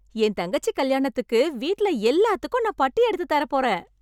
என் தங்கச்சி கல்யாணத்துக்கு வீட்ல எல்லாத்துக்கும் நான் பட்டு எடுத்துத் தரப் போறேன்.